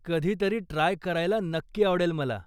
कधीतरी ट्राय करायला नक्की आवडेल मला.